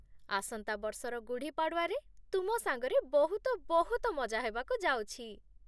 ଆସନ୍ତା ବର୍ଷର ଗୁଢୀ ପାଡୱାରେ ତୁମ ସାଙ୍ଗରେ ବହୁତ ବହୁତ ମଜା ହେବାକୁ ଯାଉଛି !